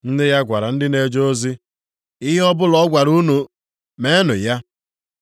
Nne ya gwara ndị na-eje ozi, “Ihe ọbụla ọ gwara unu, meenụ ya.”